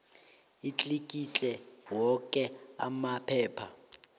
atlikitle woke amaphepha